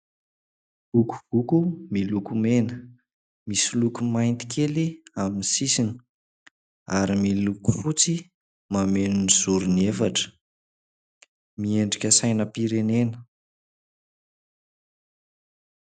Vokovoko miloko mena, misy loko mainty kely amin'ny sisiny ary miloko fotsy mameno ny zoriny efatra. Miendrika sainam-pienena.